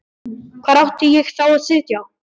Hvar átti ég þá að sitja?